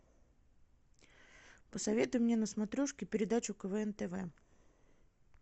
посоветуй мне на смотрешке передачу квн тв